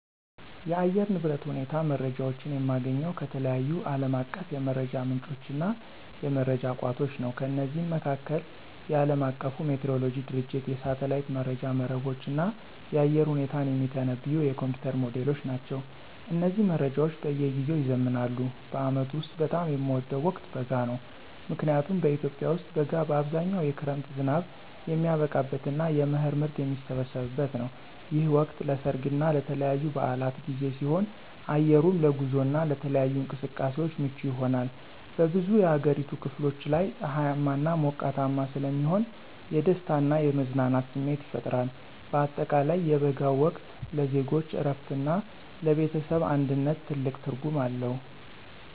የአየር ንብረት ሁኔታ መረጃዎችን የማገኘው ከተለያዩ ዓለም አቀፍ የመረጃ ምንጮችና የመረጃ ቋቶች ነው። ከነዚህም መካከል፦ የዓለም አቀፉ ሜትሮሎጂ ድርጅቶች፣ የሳተላይት መረጃ መረቦች፣ እና የአየር ሁኔታን የሚተነብዩ የኮምፒዩተር ሞዴሎች ናቸው። እነዚህ መረጃዎች በየጊዜው ይዘምናሉ። በዓመቱ ውስጥ በጣም የምወደው ወቅት በጋ ነው። ምክንያቱም በኢትዮጵያ ውስጥ በጋ በአብዛኛው የክረምት ዝናብ የሚያበቃበትና የመኸር ምርት የሚሰበሰብበት ነው። ይህ ወቅት ለሠርግና ለተለያዩ በዓላት ጊዜ ሲሆን፣ አየሩም ለጉዞና ለተለያዩ እንቅስቃሴዎች ምቹ ይሆናል። በብዙ የአገሪቱ ክፍሎች ላይ ፀሐያማና ሞቃታማ ስለሚሆን የደስታና የመዝናናት ስሜት ይፈጥራል። በአጠቃላይ የበጋው ወቅት ለዜጎች እረፍትና ለቤተሰብ አንድነት ትልቅ ትርጉም አለው።